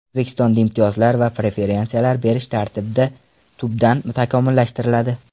O‘zbekistonda imtiyozlar va preferensiyalar berish tartibi tubdan takomillashtiriladi.